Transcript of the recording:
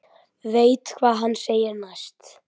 Veit hvað hann segir næst.